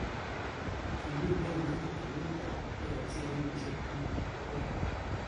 Kimitei inendet ofisit ab AFC kenyishek taman ak aek.